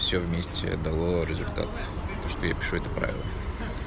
всё вместе дало результат то что я пишу это правило